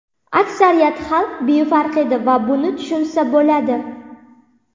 Aksariyat xalq befarq edi va buni tushunsa bo‘ladi.